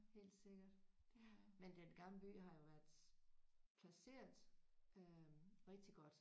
Helt sikkert ja men Den Gamle By har jo været placeret øh rigtig godt